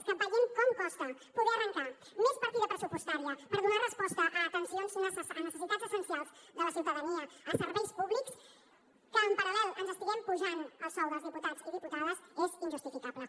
és que veient com costa poder arrancar més partida pressupostària per donar resposta a necessitats essencials de la ciutadania a serveis públics que en paral·lel ens estiguem apujant el sou dels diputats i diputades és injustificable